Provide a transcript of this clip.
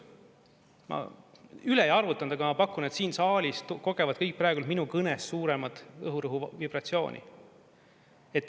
Ma üle ei arvutanud, aga ma pakun, et siin saalis kogevad kõik praegu minu kõnes suuremat õhurõhu vibratsiooni.